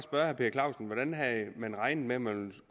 herre per clausen hvordan havde man regnet med at man